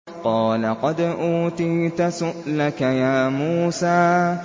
قَالَ قَدْ أُوتِيتَ سُؤْلَكَ يَا مُوسَىٰ